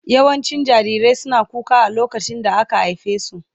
Yawancin jarirai suna kuka a lokacin da aka haife su.